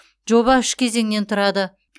жоба үш кезеңнен тұрады